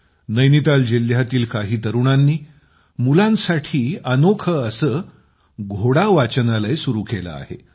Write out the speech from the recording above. नैनिताल जिल्ह्यातील काही तरुणांनी मुलांसाठी अनोखे असे घोडा वाचनालय सुरू केले आहे